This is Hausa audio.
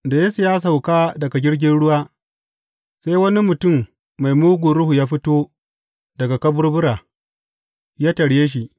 Da Yesu ya sauka daga jirgin ruwa, sai wani mutum mai mugun ruhu ya fito daga kaburbura, ya tarye shi.